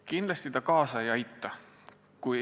Kindlasti see kaasa ei aita.